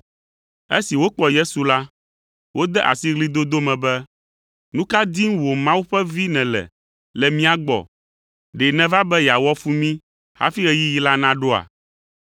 Esi wokpɔ Yesu la, wode asi ɣlidodo me be, “Nu ka dim wò Mawu ƒe Vi nèle le mía gbɔ? Ɖe nèva be yeawɔ fu mí hafi ɣeyiɣi la naɖoa?”